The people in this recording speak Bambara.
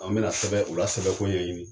An be na sɛbɛn u la sɛbɛn ko ɲɛɲini.